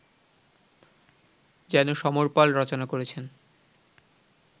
যেন সমর পাল রচনা করেছেন